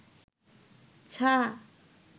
ছা